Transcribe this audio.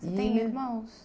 .em irmãos?